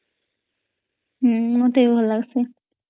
ହଁ ମତେ ବି ଭଲ ଲାଗସୀ